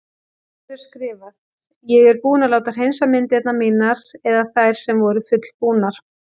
Gerður skrifar: Ég er búin að láta hreinsa myndirnar mínar eða þær sem voru fullbúnar.